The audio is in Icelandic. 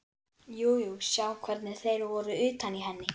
Jú jú, sjá hvernig þeir voru utan í henni.